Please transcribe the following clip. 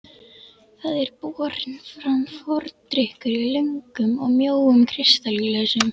Það er borinn fram fordrykkur í löngum og mjóum kristalglösum.